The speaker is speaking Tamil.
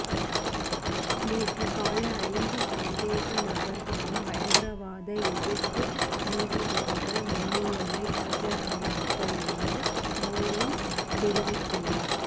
நேற்று காலை ஐந்து சந்தேக நபர்களும் பயங்கரவாத எதிர்ப்பு நீதிபதிகள் முன்னிலையில் ஆஜரானார்கள் என்று மோலின்ஸ் தெரிவித்துள்ளார்